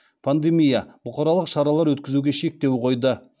пандемия бұқаралық шаралар өткізуге шектеу қойды